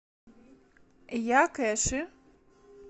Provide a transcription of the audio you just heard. якэши